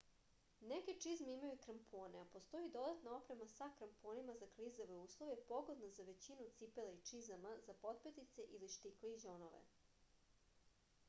neke čizme imaju krampone a postoji i dodatna oprema sa kramponima za klizave uslove pogodna za većinu cipela i čizama za potpetice ili štikle i đonove